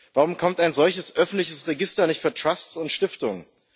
Warum kommt ein solches öffentliches Register nicht für Trusts und Stiftungen?